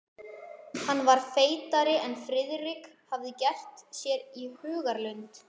Hann var feitari en Friðrik hafði gert sér í hugarlund.